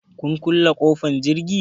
Kun kule ƙofar jirgi?